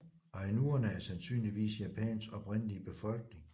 Ainuerne er sandsynligvis Japans oprindelige befolkning